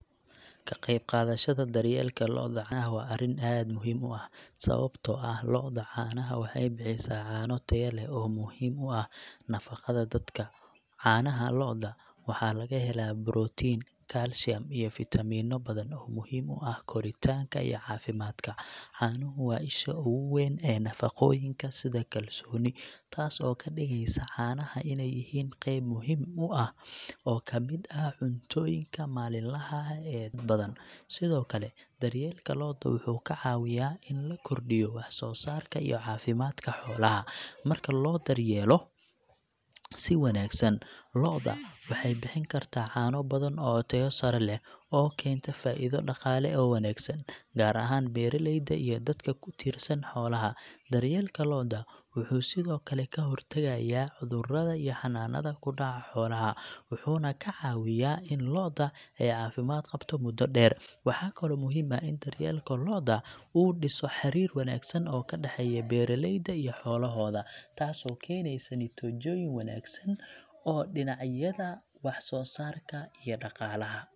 Ka qeyb qaadashada daryeelka lo’da caanaha waa arrin aad muhiim u ah, sababtoo ah lo’da caanaha waxay bixisaa caano tayo leh oo muhiim u ah nafaqada dadka. Caanaha lo'da waxaa laga helaa borotiin, [cs calcium, iyo fiitamiinno badan oo muhiim u ah koritaanka iyo caafimaadka. Caanuhu waa isha ugu weyn ee nafaqooyinka sida kalsooni, taasoo ka dhigaysa caanaha inay yihiin qayb muhiim u ah oo ka mid ah cuntooyinka maalinlaha ah ee dad badan. Sidoo kale, daryeelka lo’da wuxuu kaa caawinayaa in la kordhiyo wax soo saarka iyo caafimaadka xoolaha. Marka loo daryeelo si wanaagsan, lo'da waxay bixin kartaa caano badan oo tayo sare leh, taas oo keenta faa’iido dhaqaale oo wanaagsan, gaar ahaan beeraleyda iyo dadka ku tiirsan xoolaha. Daryeelka lo’da wuxuu sidoo kale ka hortagayaa cudurrada iyo xanaanada ku dhaca xoolaha, wuxuuna kaa caawinayaa in lo’da ay caafimaad qabto muddo dheer. Waxaa kaloo muhiim ah in daryeelka lo'da uu dhiso xiriir wanaagsan oo ka dhexeeya beeraleyda iyo xoolahooda, taasoo keenaysa natiijooyin wanaagsan ee dhinacyada wax soo saarka iyo dhaqaalaha.